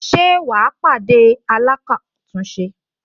Ṣé wà á pàdé alákàtúnṣe